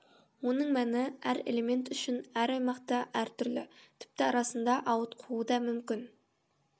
оның мәні әр элемент үшін әр аймақта әр түрлі тіпті арасында ауытқуы да мүмкін